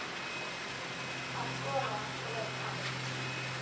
Að sofa og vera kalt.